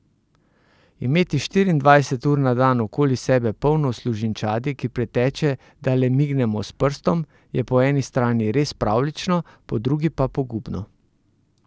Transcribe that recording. Imeti štiriindvajset ur na dan okoli sebe polno služinčadi, ki priteče, da le mignemo s prstom, je po eni strani res pravljično, po drugi pa pogubno!